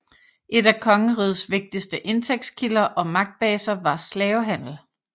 En af kongerigets vigtigste indtægtkilder og magtbaser var slavehandel